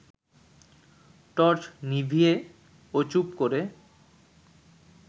torch নিভিয়ে ও চুপ করে